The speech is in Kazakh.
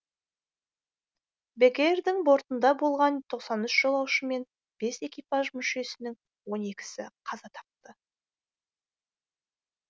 бек эйрдың бортында болған тоқсан үш жолаушы мен бес экипаж мүшесінің он екісі қаза тапты